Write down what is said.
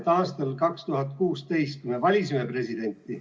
Aastal 2016 me valisime presidenti.